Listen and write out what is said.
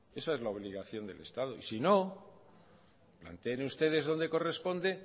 esa es la obligación del estado y ni no planteen ustedes donde corresponde